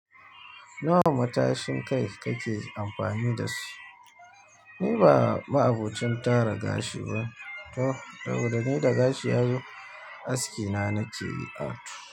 Nawa matashin kai kake amfani da su? Ni ba ma'abocin tara gashi ba to, saboda ni da gashi yazo aski na nake artu.